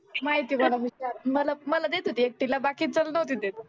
माहीत आहे मला विचार मला देत होती एकटीला बाकीच्यानं नोहती देत